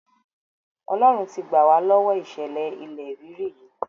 Ọlọ́run ti gbà wá lọ́wọ ìṣẹ̀lẹ̀ ilẹ̀ rírì yìí.